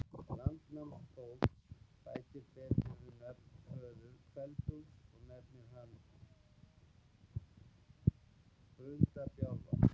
Landnámabók bætir betur við nafn föður Kveld-Úlfs og nefnir hann Brunda-Bjálfa.